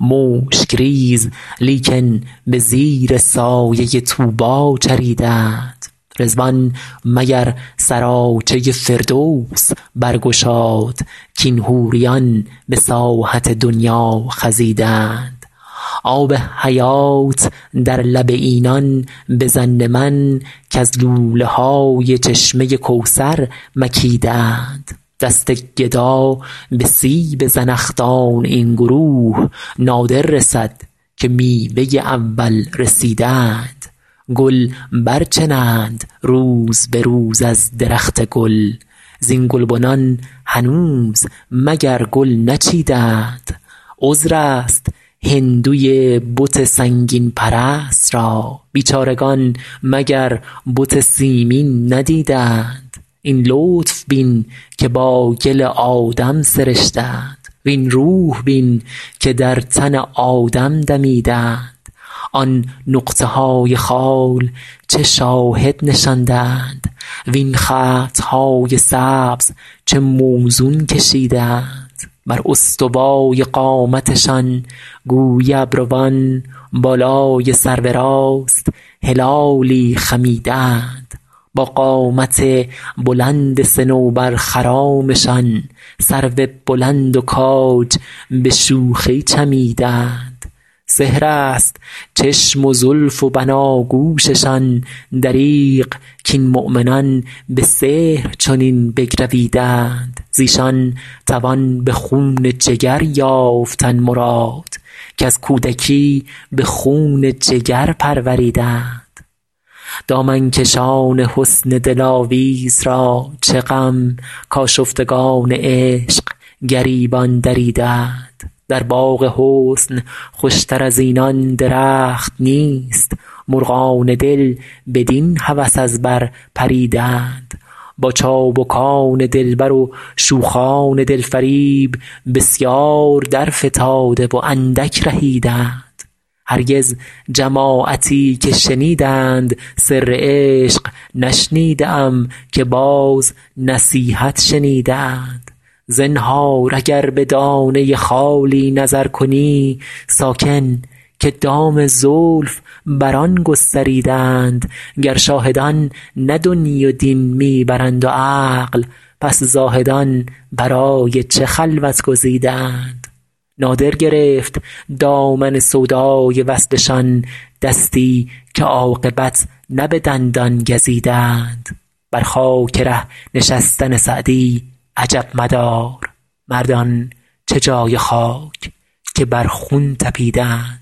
مشک ریز لیکن به زیر سایه طوبی چریده اند رضوان مگر سراچه فردوس برگشاد کاین حوریان به ساحت دنیا خزیده اند آب حیات در لب اینان به ظن من کز لوله های چشمه کوثر مکیده اند دست گدا به سیب زنخدان این گروه نادر رسد که میوه اول رسیده اند گل برچنند روز به روز از درخت گل زین گلبنان هنوز مگر گل نچیده اند عذر است هندوی بت سنگین پرست را بیچارگان مگر بت سیمین ندیده اند این لطف بین که با گل آدم سرشته اند وین روح بین که در تن آدم دمیده اند آن نقطه های خال چه شاهد نشانده اند وین خط های سبز چه موزون کشیده اند بر استوای قامتشان گویی ابروان بالای سرو راست هلالی خمیده اند با قامت بلند صنوبرخرامشان سرو بلند و کاج به شوخی چمیده اند سحر است چشم و زلف و بناگوششان دریغ کاین مؤمنان به سحر چنین بگرویده اند ز ایشان توان به خون جگر یافتن مراد کز کودکی به خون جگر پروریده اند دامن کشان حسن دلاویز را چه غم کآشفتگان عشق گریبان دریده اند در باغ حسن خوش تر از اینان درخت نیست مرغان دل بدین هوس از بر پریده اند با چابکان دلبر و شوخان دل فریب بسیار درفتاده و اندک رهیده اند هرگز جماعتی که شنیدند سر عشق نشنیده ام که باز نصیحت شنیده اند زنهار اگر به دانه خالی نظر کنی ساکن که دام زلف بر آن گستریده اند گر شاهدان نه دنیی و دین می برند و عقل پس زاهدان برای چه خلوت گزیده اند نادر گرفت دامن سودای وصلشان دستی که عاقبت نه به دندان گزیده اند بر خاک ره نشستن سعدی عجب مدار مردان چه جای خاک که بر خون طپیده اند